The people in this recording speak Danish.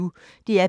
DR P1